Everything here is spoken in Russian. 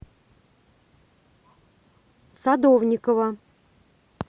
садовникова